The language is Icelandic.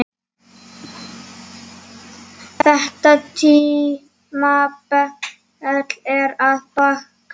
Þetta tímabil er að baki.